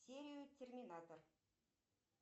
серию терминатор